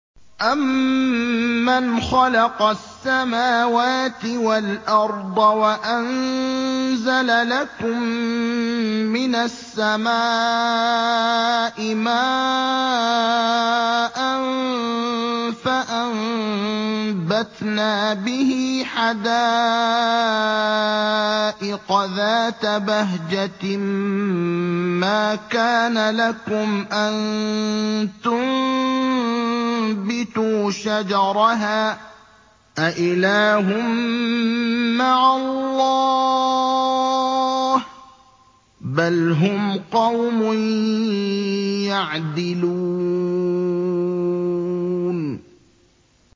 أَمَّنْ خَلَقَ السَّمَاوَاتِ وَالْأَرْضَ وَأَنزَلَ لَكُم مِّنَ السَّمَاءِ مَاءً فَأَنبَتْنَا بِهِ حَدَائِقَ ذَاتَ بَهْجَةٍ مَّا كَانَ لَكُمْ أَن تُنبِتُوا شَجَرَهَا ۗ أَإِلَٰهٌ مَّعَ اللَّهِ ۚ بَلْ هُمْ قَوْمٌ يَعْدِلُونَ